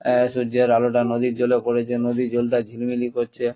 আহ সূর্যের আলোটা নদীর জলে পড়েছে নদীর জলটা ঝিলিমিলি করছে ।